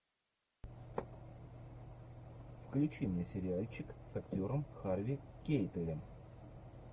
включи мне сериальчик с актером харви кейтелем